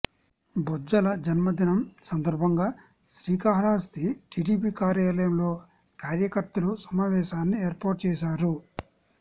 బొజ్జల జన్మదినం సందర్భంగా Srikalahasti TDP కార్యాలయంలో కార్యకర్తలు సమావేశాన్ని ఏర్పాటు చేసారు